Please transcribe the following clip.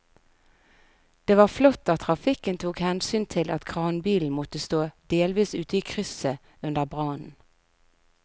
Det var flott at trafikken tok hensyn til at kranbilen måtte stå delvis ute i krysset under brannen.